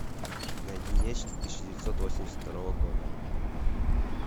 найди нечто тысяча девятьсот восемьдесят второго года